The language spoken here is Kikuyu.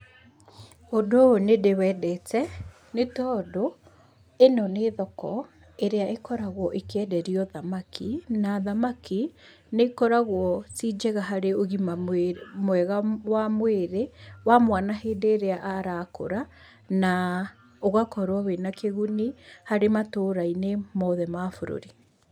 Ũndũ ũyũ nĩ ndĩwendete , nĩ tondũ ĩno nĩ thoko ĩrĩa ĩkoragwo ĩkĩenderio thamaki, na thamaki nĩ ĩkoragwo ci njega harĩ ũgima mwega wa mwĩrĩ , wa mwana hĩndĩ ĩrĩa arakũra, na ũgakorwo wĩna kĩguni , harĩ matũra-inĩ mothe ma bũrũri.